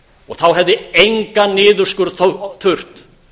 og þá hefði engan niðurskurð þurft